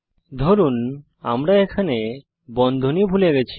ধরুন আমরা এখানে বন্ধনী ভুলে গেছি